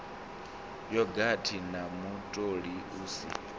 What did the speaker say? yogathi na mutoli u si